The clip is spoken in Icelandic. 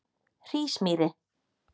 Hrísmýri